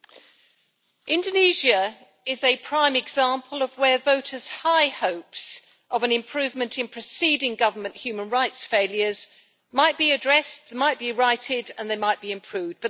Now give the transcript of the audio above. Madam President, Indonesia is a prime example of where voters' high hopes of an improvement in preceding government human rights failures might be addressed, might be righted and might be improved.